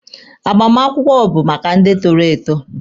Agbamakwụkwọ bụ maka ndị toro eto.